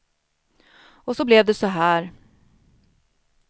Och så blev det så här.